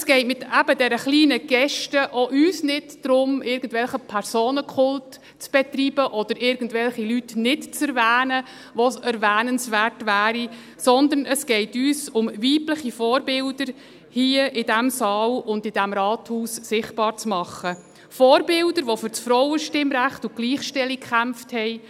Es geht mit dieser kleinen Geste auch uns nicht darum, Personenkult zu betreiben oder irgendwelche Leute nicht zu erwähnen, die erwähnenswert wären, sondern es geht uns darum, weibliche Vorbilder hier, im diesen Saal, und im Rathaus sichtbar zu machen – Vorbilder, die für das Frauenstimmrecht und die Gleichstellung gekämpft haben;